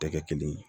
Tɛ kɛ kelen ye